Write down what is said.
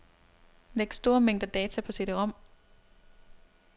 Læg store mængder data på cd-rom.